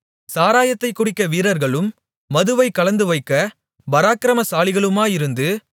சாராயத்தைக் குடிக்க வீரர்களும் மதுவைக் கலந்துவைக்கப் பராக்கிரமசாலிகளுமாயிருந்து